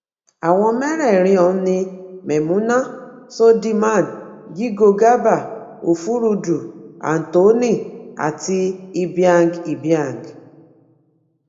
àwọn mẹ́rẹ̀ẹ̀rin ọ̀hún ni mémúnà söldiman jígo garba òfurudú anthony àti ibiang ibiang